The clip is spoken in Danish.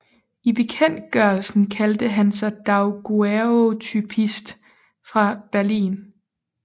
I bekendtgørelsen kaldte han sig daguerreotypist fra Berlin